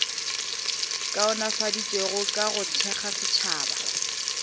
kaonafaditšwego ka go thekga setšhaba